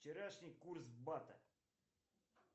вчерашний курс бата